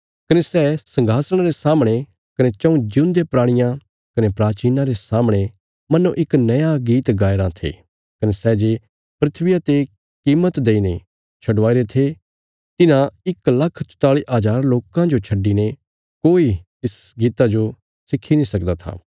कने सै संघासणा रे सामणे कने चऊँ जिऊंदे प्राणियां कने प्राचीनां रे सामणे मन्नो इक नया गीत गाया राँ थे कने सै जे धरतिया ते कीमत देईने छडवाईरे थे तिन्हां इक लाख चौताली हज़ार लोकां जो छड्डिने कोई तिस गीता जो सिक्खी नीं सकदा था